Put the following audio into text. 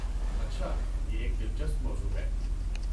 اچھا۔ یہ ایک دلچسپ موضوع ہے۔